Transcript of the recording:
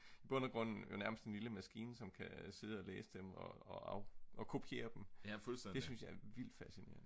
bund og grund nærmest en lille maskine som kan sidde og læse dem og kopiere dem det synes jeg er vildt fascinerende